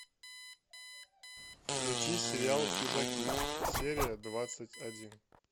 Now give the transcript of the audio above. включи сериал чужаки серия двадцать один